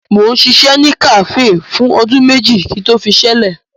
Mo ṣiṣẹ́ ní kàféè fún ọdún méjì kí n tó fiṣẹ́ lẹ̀.